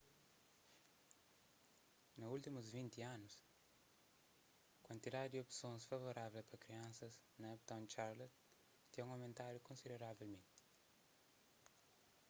na últimus 20 anu kuantidadi di opsons favorável pa kriansas na uptown charlotte ten aumentadu konsideravelmenti